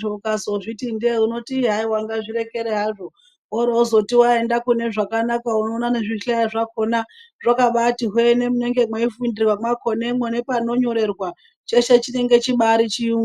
zvikora ukazozviti ndee unoti haa ngazvirekere hazvo worozoti waenda kune zvakanaka unondoona nezvihlayo zvakona zvakabati hwe nemunenge meifundirwa makona panonyorerwa cheshe chinenge chiri bachirungu.